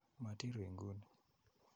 Matii ru inguni.